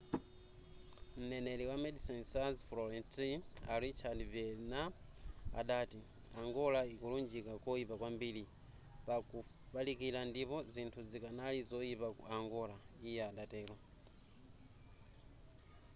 m'neneri wa medecines sans frontiere a richard veerman adati angola ikulunjika koyipa kwambiri pa kufalikila ndipo zinthu zikanali zoyipa ku angola iye adatero